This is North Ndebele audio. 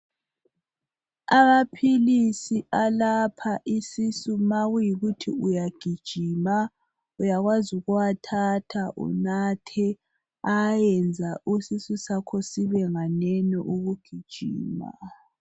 Amaphilisi alapha isisu makuyikuthi uyagijima, uyakwazi ukuwathatha unathe ayayenza isisu sakho sibenganeno ukugijima